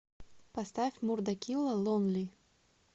поставь мурда килла лонли